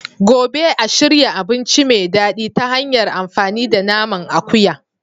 Gobe. a shirya abinci mai daɗi ta hanyar amfani da naman akuya.